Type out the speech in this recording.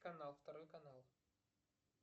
канал второй канал